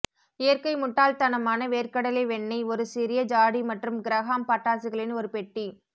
இயற்கை முட்டாள்தனமான வேர்க்கடலை வெண்ணெய் ஒரு சிறிய ஜாடி மற்றும் கிரஹாம் பட்டாசுகளின் ஒரு பெட்டி